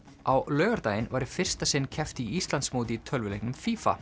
á laugardaginn var í fyrsta sinn keppt í Íslandsmóti í tölvuleiknum